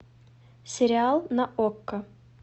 сериал на окко